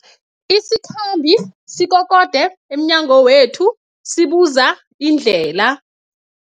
Isikhambi sikokode emnyango wethu sibuza indlela.